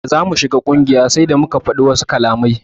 Da zamu shiga ƙungiyar sai da muka fadi wasu kalamai.